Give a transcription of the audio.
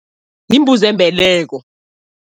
Yimbuzi yembeleko.